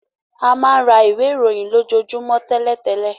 A máa rà ìwé ìròyìn lo jo jumọ télètélè.